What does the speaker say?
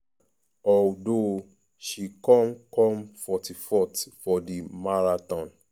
although she come come 44th for di marathon.